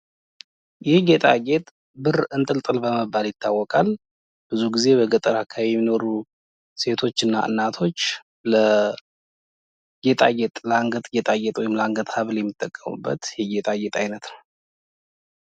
ይህ ጌጣጌጥ ብር እንጥልጥል በመባል ይታወቃል ብዙ ጊዜ በገጠር አካባቢ የሚኖሩ ሴቶች እና እናቶች ለጌጣጌጥ ወይም ለአንገት ሀብል የሚጠቀሙበት የጌጣጌጥ አይነት ነው::